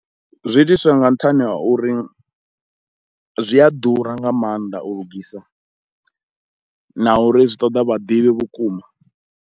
Zwi itiswa nga nṱhani ha uri zwi a ḓura nga mannḓa u lugisa na uri zwi ṱoḓa vhaḓivhi vhukuma.